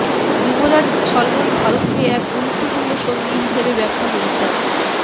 যুবরাজ Salman ভারতকে এক গুরুত্বপূর্ণ সঙ্গী হিসেবে ব্যাখ্যা করেছেন